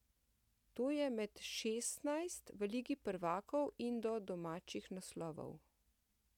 To je med šestnajst v Ligi prvakov in do domačih naslovov.